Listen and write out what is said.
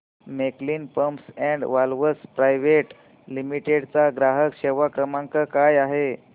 Camlin pumps and valves private limited चा ग्राहक सेवा क्रमांक काय आहे